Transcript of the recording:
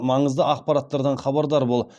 маңызды ақпараттардан хабардар бол